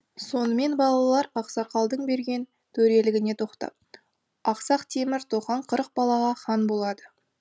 сонымен балалар ақсақалдың берген төрелігіне тоқтап ақсақ темір тохан қырық балаға хан болады